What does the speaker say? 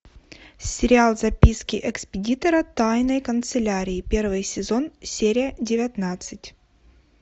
сериал записки экспедитора тайной канцелярии первый сезон серия девятнадцать